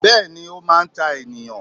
Béèni Ó máa n ta ènìyàn